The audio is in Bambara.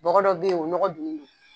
Bɔgɔ dɔ bɛ yen, o bɛ nɔgɔ dun